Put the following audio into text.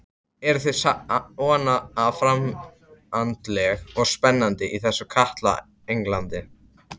Eruð þið svona framandleg og spennandi í þessu kalda Englandi?